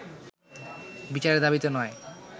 বিচারের দাবিতে নয়